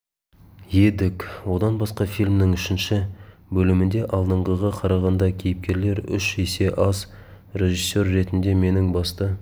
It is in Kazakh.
едік одан басқа фильмнің үшінші бөлімінде алдыңғыға қарағанда кейіпкерлер үш есе аз режиссер ретінде менің басты